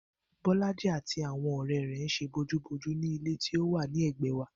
Bó̩lájí àti àwo̩n ò̩ré̩ rè̩ ń s̩e bojúbojú ní ilé tí ó wà lé̩gbè̩é̩ wa